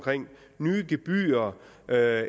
nye gebyrer